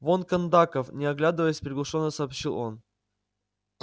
вон кондаков не оглядываясь приглушённо сообщил он